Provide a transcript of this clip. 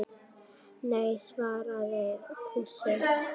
Nei svaraði Fúsi.